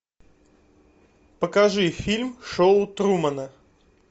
покажи фильм шоу трумана